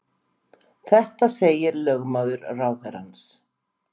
Þetta segir lögmaður ráðherrans